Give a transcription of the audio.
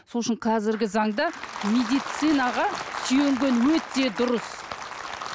сол үшін қазіргі заңда медицинаға сүйенген өте дұрыс